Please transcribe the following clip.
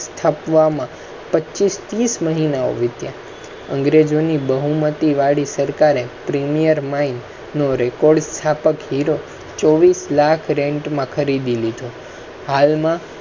સ્થાપવા. પચીસ ટીસ મહિનાઓ વીત્યા અંગ્રેજો ની બહુમતી વાળી સરકાર premier mine નો record સ્થાપક હીરો ચોવીસ લાખ માં ખરીદીલીધો.